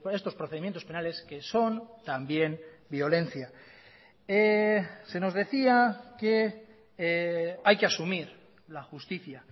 estos procedimientos penales que son también violencia se nos decía que hay que asumir la justicia